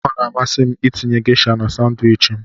Ọ na-amasị m itinye Gesha na Sanwichi m.